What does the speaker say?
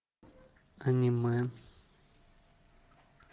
анимэ